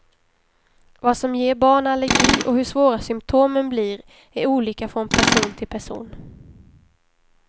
Vad som ger barn allergi och hur svåra symtomen blir är olika från person till person.